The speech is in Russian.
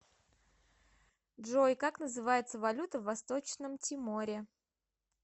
джой как называется валюта в восточном тиморе